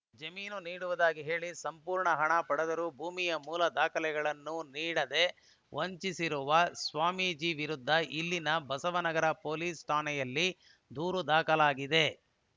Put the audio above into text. ಜಮೀನು ನೀಡುವುದಾಗಿ ಹೇಳಿ ಸಂಪೂರ್ಣ ಹಣ ಪಡೆದರೂ ಭೂಮಿಯ ಮೂಲ ದಾಖಲೆಗಳನ್ನು ನೀಡದೆ ವಂಚಿಸಿರುವ ಸ್ವಾಮೀಜಿ ವಿರುದ್ಧ ಇಲ್ಲಿನ ಬಸವ ನಗರ ಪೊಲೀಸ ಠಾಣೆಯಲ್ಲಿ ದೂರು ದಾಖಲಾಗಿದೆ